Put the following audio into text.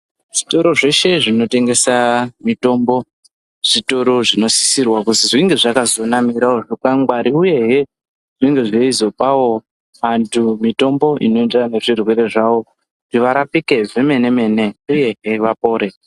Zvitoro zveshe zvinotengesa mitombo zvitoro zvinosisirwa kuzi zvinge zvakazonamirawo zvikwangwari uyehe zvinenge zveizopawo vanhu mitombo inoenderana nezvirwere zvavo kuti varapike zvemene mene uyehe vapore.